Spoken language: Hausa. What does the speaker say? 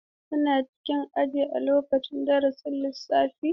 Kuna cikin aji a lokacin darasin lissafi?